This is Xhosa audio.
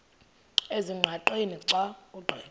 ezingqaqeni xa ugqitha